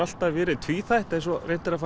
alltaf verið tvíþætt eins og reynt er að